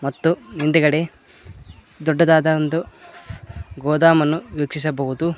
ಮತ್ತು ಹಿಂದೆಗಡೆ ದೊಡ್ಡದಾದ ಒಂದು ಗೋದಾಮ್ ಅನ್ನು ವೀಕ್ಸಿಸಬಹುದು.